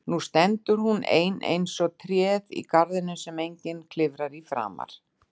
Nú stendur hún ein eins og tréð í garðinum sem enginn klifrar í framar.